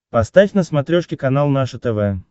поставь на смотрешке канал наше тв